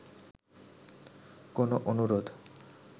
কোন অনুরোধ